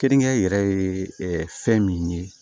Keninke yɛrɛ ye fɛn min ye